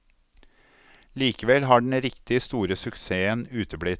Likevel har den riktig store suksessen uteblitt.